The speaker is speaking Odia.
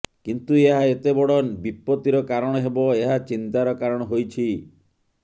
କିନ୍ତୁ ଏହା ଏତେ ବଡ଼ ବିପତ୍ତିର କାରଣ ହେବ ଏହା ଚିନ୍ତାର କାରଣ ହୋଇଛି